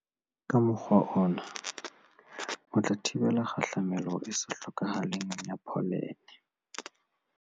Ka mokgwa ona, o tla thibela kgahlamelo e sa hlokahaleng ya pholene.